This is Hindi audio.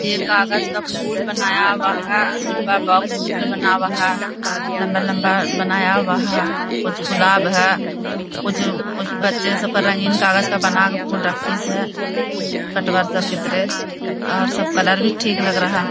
ये कागज का फूल बनाया हुआ है। डिब्बा बॉक्स की तरह बनाया हुआ है। लम्बा-लम्बा बनाया हुआ है। कुछ गुलाब है। कुछ-कुछ सब बच्चे रंगीन कागज का बना फूल रखे कटवा सब की तरह और सब कलर भी ठीक लग रहा --